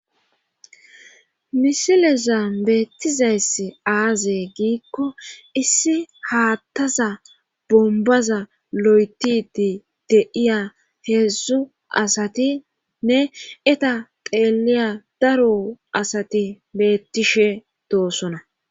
Misileza beettizayss aaze giikko issi haattaza bombaza lo7etidi deiya heedzdzu asatinne eta xeeliya daro asati beettishe doosona.